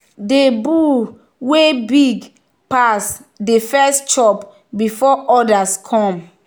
the bull wey big pas dey first chop before others come.